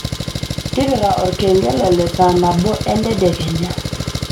tipika olkengele le saa nabo entedekenya